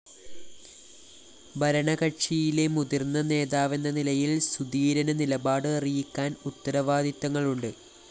ഭരണകക്ഷിയിലെ മുതിര്‍ന്ന നേതാവെന്ന നിലയില്‍ സുധീരന് നിലപാട് അറിയിക്കാന്‍ ഉത്തരവാദിത്തങ്ങളുണ്ട്